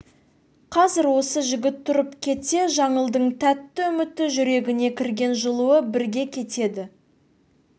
қазір осы жігіт тұрып кетсе жаңылдың тәтті үміті жүрегіне кірген жылуы бірге кетеді